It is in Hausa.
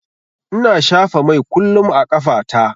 Ina shafa mai kullum a ƙafa ta.